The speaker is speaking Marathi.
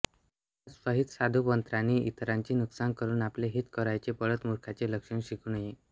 म्हणूनच स्वहितसाधू पत्रांनी इतरांचे नुकसान करुन आपले हित करावयाचे पढतमूर्खाचे लक्षण शिकू नये